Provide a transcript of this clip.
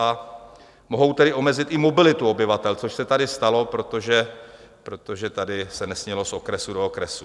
A mohou tedy omezit i mobilitu obyvatel, což se tady stalo, protože tady se nesmělo z okresu do okresu.